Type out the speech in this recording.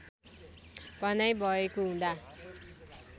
भनाइ भएको हुँदा